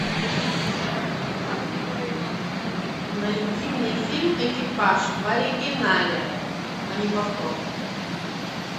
найди мне фильм экипаж в оригинале а не повтор